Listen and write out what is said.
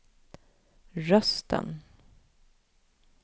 rösten